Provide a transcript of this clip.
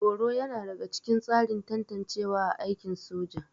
Horo yana daga cikin tsarin tantancewa a aikin soja